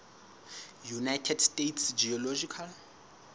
united states geological